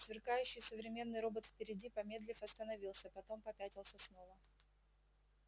сверкающий современный робот впереди помедлив остановился потом попятился снова